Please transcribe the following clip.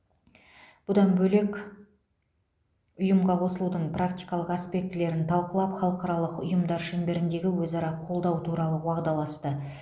бұдан бөлек ұйымға қосылудың практикалық аспектілерін талқылап халықаралық ұйымдар шеңберіндегі өзара қолдау туралы уағдаласты